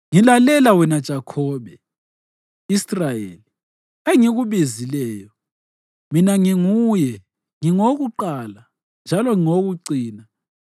“Ngilalela wena Jakhobe, Israyeli, engikubizileyo: Mina nginguye; ngingowokuqala njalo ngingowokucina.